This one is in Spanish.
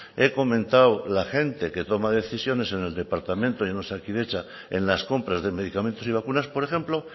he comentado la gente que toma decisiones en el departamento y en osakidetza en las compras de medicamentos y vacunas por ejemplo